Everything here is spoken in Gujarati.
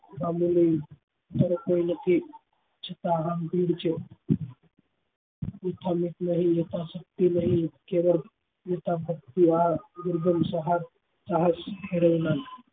જ્યારે કોઈ નથી છતાં અહમ યથા શક્તિ નહી કેવળ